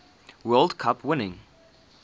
world cup winning